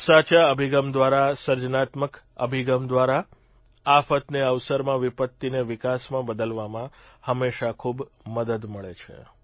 સાચા અભિગમ દ્વારા સર્જનાત્મક અભિગમ દ્વારા આફતને અવસરમાં વિપત્તિને વિકાસમાં બદલવામાં હંમેશા ખૂબ મદદ મળે છે